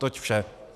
Toť vše.